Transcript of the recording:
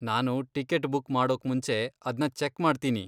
ನಾನು ticket book ಮಾಡೋಕ್ಮುಂಚೆ ಅದ್ನ ಚೆಕ್ ಮಾಡ್ತೀನಿ.